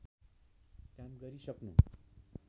काम गरि सक्नु